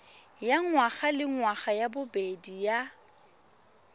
ya ngwagalengwaga ya bobedi ya